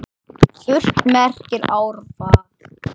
Furt merkir árvað.